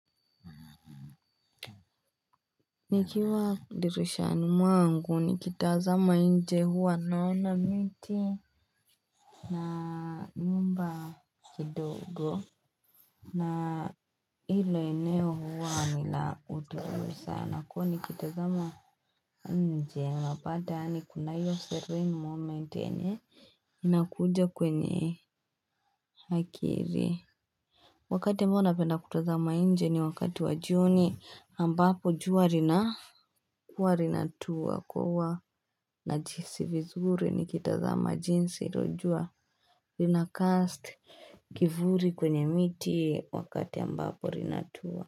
Nikiwa dirishani mwangu nikitazama nje huwa naona miti na nyumba kidogo na hilo eneo huwa ni la utulivu sana kwani nikitazama nje unapata yaani kuna hiyo serene moment yenye inakuja kwenye akili Wakati ambao napenda kutazama nje ni wakati wa jioni ambapo jua linakuwa linatua. Kwa huwa najihisi vizuri nikitazama jinsi hilo jua linacast kivuli kwenye miti wakati ambapo linatua.